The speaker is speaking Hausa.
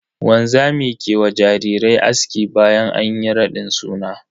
Wanzami ke wa jarirai aski bayan anyi raɗin suna.